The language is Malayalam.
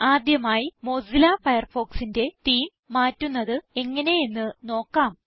ആദ്യമായി മൊസില്ല Firefoxന്റെ തേമെ മാറ്റുന്നത് എങ്ങനെയെന്ന് നോക്കാം